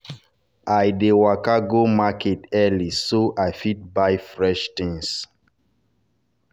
i dey waka go market early so i fit buy fresh things.